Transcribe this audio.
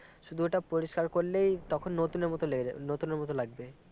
শুধু ওটা পরিষ্কার করলেই তখন নতুনের মতো লেগে যাবে নতুনের মতো লাগবে